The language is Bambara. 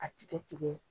A tigɛ tigɛ